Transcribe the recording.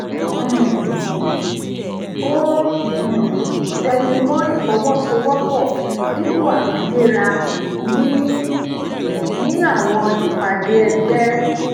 um ó um tẹnu mó ìfọwosowopo dípò àfiwéra ní ní àwọn ìpàdé ẹgbẹ